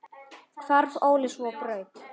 Hvarf Óli svo á braut.